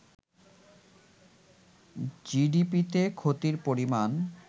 জিডিপিতে ক্ষতির পরিমাণ